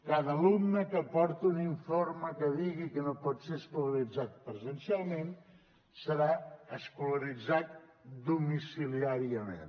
cada alumne que aporti un informe que digui que no pot ser escolaritzat presencialment serà escolaritzat domiciliàriament